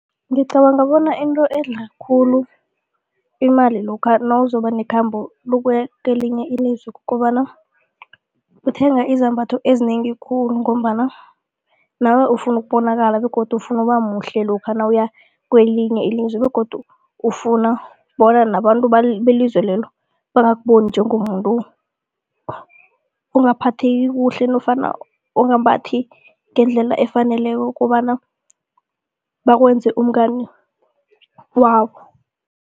Ngicabanga bona into edla khulu imali lokha nawuzoba nekhambo lokuya kwelinye ilizwe kukobana, uthenga izambatho ezinengi khulu ngombana nawe ufuna ukubonakala begodu ufuna ukuba muhle lokha nawuya kwelinye ilizwe begodu ufuna bona nabantu belizwe lelo bangakuboni njengomuntu ungaphatheki kuhle nofana ungambathi ngendlela efaneleko kobana bakwenze umngani wabo.